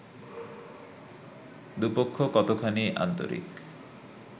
দু'পক্ষ কতখানি আন্তরিক